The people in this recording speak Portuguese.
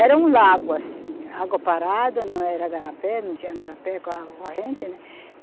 Era um lago assim, água parada, não era garapé, não tinha garapé com água corrente, né?